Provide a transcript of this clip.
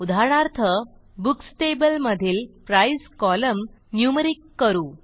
उदाहरणार्थ books table मधील price column numeric करू